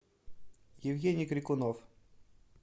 евгений крикунов